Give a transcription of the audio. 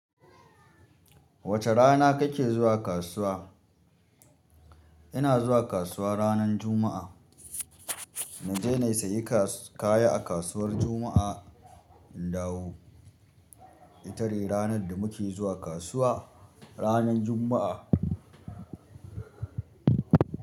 Wacce rana kake zuwa kasuwa? Ina zuwa kasuwa ranan Juma'a. Naje na sayi kasu-kaya a kasuwar Juma'a. In dawo. Ita ce ranar da muke zuwa kasuwa, ranar Juma'a.